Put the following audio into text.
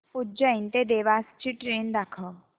उज्जैन ते देवास ची ट्रेन दाखव